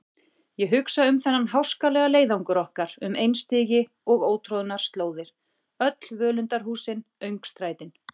Ég hugsa um þennan háskalega leiðangur okkar um einstigi og ótroðnar slóðir, öll völundarhúsin, öngstrætin.